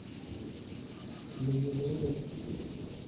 meyiolounoyu